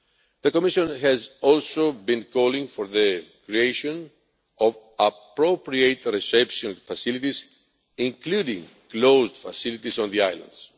The Commission has also been calling for the creation of appropriate reception facilities, including closed facilities, on the islands.